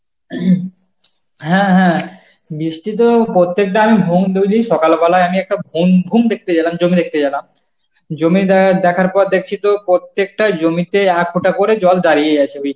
হ্যাঁ হ্যাঁ, বৃষ্টি তো প্রত্যেকবার সকালবেলায় আমি একটা বম ভুম দেখতে গেলাম, জমি দেখতে গেলাম জমি দ্যা~ দেখার পর দেখছি তো প্রত্যেকটা জমিতে এতটা করে জল দাঁড়িয়ে আছে